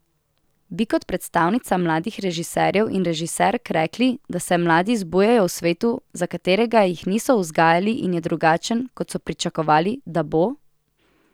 Bi kot predstavnica mladih režiserjev in režiserk rekli, da se mladi zbujajo v svetu, za katerega jih niso vzgajali in je drugačen, kot so pričakovali, da bo?